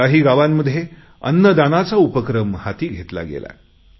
काही गावांमध्ये अन्नदानाचा उपक्रम हाती घेतला गेला